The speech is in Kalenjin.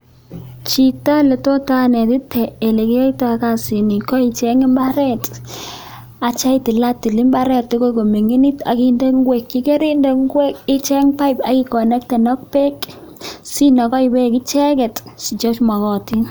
Chito netit anetite olekinyoito kasini ko icheng imbaret akityo itilatil imbaret koming'init ak inde ing'wek yekorinde ngwek icheng pipe ak ikonekten ak beek sinokoi beek icheket chemokotin.